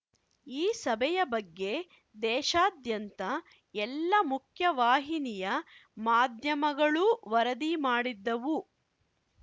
ಈ ಸಭೆಯ ಬಗ್ಗೆ ದೇಶಾದ್ಯಂತ ಎಲ್ಲಾ ಮುಖ್ಯವಾಹಿನಿಯ ಮಾಧ್ಯಮಗಳೂ ವರದಿ ಮಾಡಿದ್ದವು